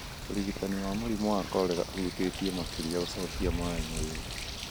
Ũrigitani wa mũrimũ wa korera ũhutĩtie makĩria gũcokia maĩ mwĩrĩ